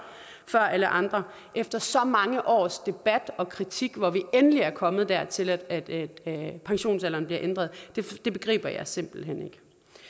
alle andre efter så mange års debat og kritik hvor vi endelig er kommet dertil at pensionsalderen bliver ændret begriber jeg simpelt hen ikke